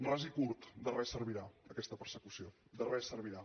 ras i curt de res servirà aquesta persecució de res servirà